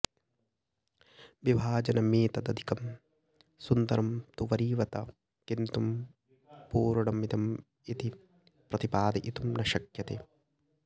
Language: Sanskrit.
विभाजनमेतदधिकं सुन्दरं तु वरीवत किन्तु पूर्णमिदमिति प्रतिपादयितुं न शक्यते